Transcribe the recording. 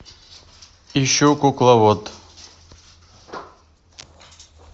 ищу кукловод